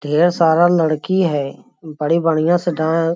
ढेर सारा लड़की है बड़ी बढ़िया से डां --